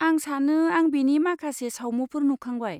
आं सानो आं बेनि माखासे सावमुफोर नुखांबाय।